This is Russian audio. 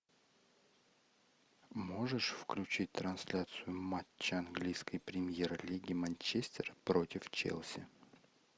можешь включить трансляцию матча английской премьер лиги манчестер против челси